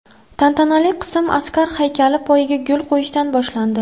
Tantanali qism askar haykali poyiga gul qo‘yishdan boshlandi.